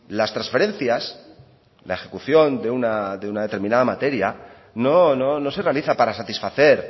las transferencias la ejecución de una determinada materia no se realiza para satisfacer